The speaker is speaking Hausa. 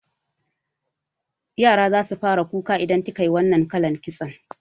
Yara zasu fara kuka idan kikayi wannan kalan kitson